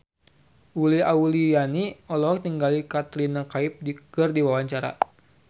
Uli Auliani olohok ningali Katrina Kaif keur diwawancara